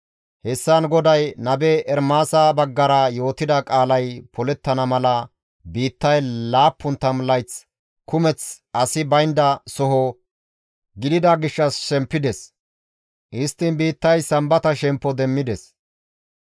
Hessan GODAY nabe Ermaasa baggara yootida qaalay polettana mala biittay 70 layth kumeth asi baynda soho gidida gishshas shempides; histtiin biittay sambata shemppo demmides.